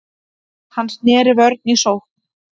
Hann sneri vörn í sókn.